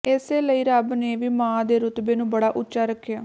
ਇਸੇ ਲਈ ਰੱਬ ਨੇ ਵੀ ਮਾਂ ਦੇ ਰੱੁਤਬੇ ਨੂੰ ਬੜਾ ਉੱਚਾ ਰੱਖਿਆ